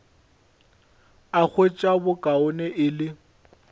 a hwetša bokaone e le